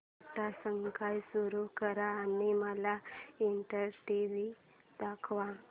Tata Sky सुरू कर आणि मला एनडीटीव्ही दाखव